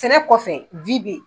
Sɛnɛ kɔfɛ bɛ ye.